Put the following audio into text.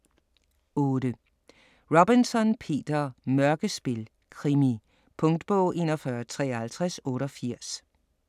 8. Robinson, Peter: Mørkespil: krimi Punktbog 415388